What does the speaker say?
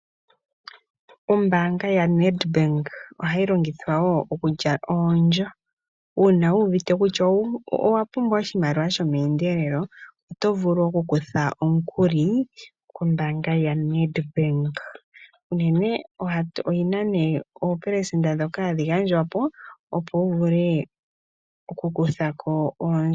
Ombaanga ya NEDBANK ohayi longithwa wo okuja oondjo. Uuna wuuvite kutya owu owapumbwa oshimaliwa shomeendelelo, oto vulu okukutha omukuli, kombaanga ya NEDBANK. Unene ohat oyina nee oopelesenda dhoka hadhi gandjwapo, opo wuvule okukuthako oondj.